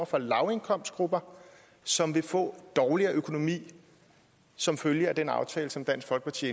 fra lavindkomstgrupper som vil få dårligere økonomi som følge af den aftale som dansk folkeparti